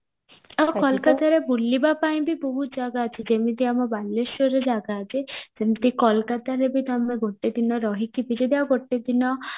ଆଉ କୋଲକାତାରେ ବୁଲିବା ପାଇଁ ବି ବହୁତ ଜାଗା ଅଛି ଯେମତି ଆମ ବାଲେଶ୍ଵରରେ ଜାଗା ଅଛି ସେମତି କୋଲକାତାରେ ବି ତମେ ଗୋଟେ ଦିନ ରହିକି ବି ଗୋଟେ ଦିନ